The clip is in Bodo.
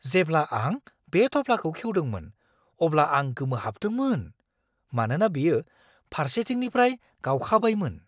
जेब्ला आं बे थफ्लाखौ खेवदोंमोन अब्ला आं गोमोहाबदोंमोन, मानोना बेयो फारसेथिंनिफ्राय गावखाबायमोन!